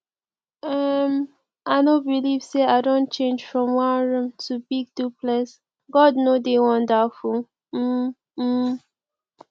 um i no believe say i don change from one room to big duplex god no dey wonderful um um